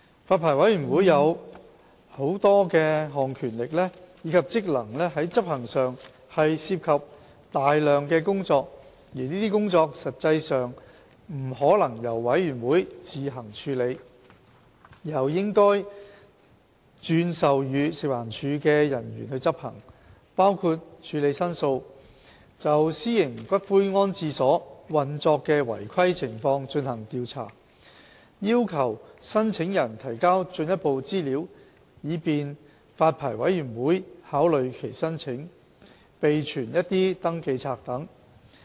發牌委員會有多項權力及職能在執行上涉及大量工作，而這些工作實際上不可能由發牌委員會自行處理，而是應該轉授予食環署的人員執行，包括處理申訴、就私營骨灰安置所運作的違規情況進行調查、要求申請人提交進一步資料以便發牌委員會考慮其申請，以及備存一些登記冊等。